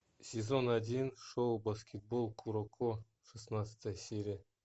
сезон один шоу баскетбол куроко шестнадцатая серия